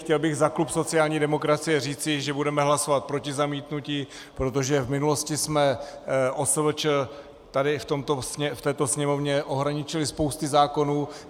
Chtěl bych za klub sociální demokracie říci, že budeme hlasovat proti zamítnutí, protože v minulosti jsme OSVČ tady v této Sněmovně ohraničili spoustou zákonů.